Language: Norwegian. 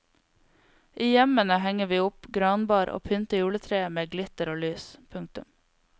I hjemmene henger vi opp granbar og pynter juletreet med glitter og lys. punktum